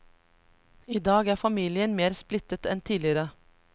I dag er familien mer splittet enn tidligere.